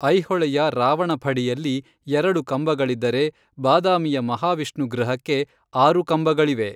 ಐಹೊಳೆಯ ರಾವಣಫಡಿಯಲ್ಲಿ ಎರಡು ಕಂಬಗಳಿದ್ದರೆ ಬಾದಾಮಿಯ ಮಹಾವಿಷ್ಣು ಗೃಹಕ್ಕೆ ಆರು ಕಂಬಗಳಿವೆ.